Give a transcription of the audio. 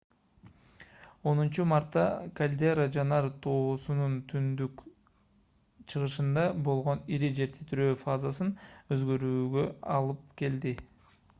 10-мартта кальдера жанар тоосунун түндүк-чыгышында болгон ири жер титирөө фазанын өзгөрүүсүнө алып келди